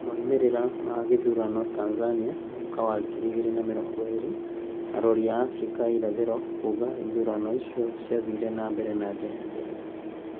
Moimerera ma gĩthuranoTanzania 2020: Arori a Abirika ya irathĩro kuugaga ithurano icio ciathire na mbere na njĩra njega